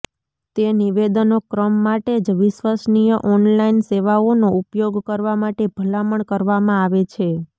તે નિવેદનો ક્રમ માટે જ વિશ્વસનીય ઓનલાઇન સેવાઓનો ઉપયોગ કરવા માટે ભલામણ કરવામાં આવે છે